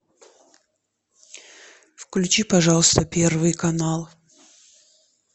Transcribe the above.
включи пожалуйста первый канал